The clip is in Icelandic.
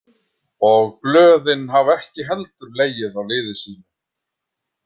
Og blöðin hafa ekki heldur legið á liði sínu.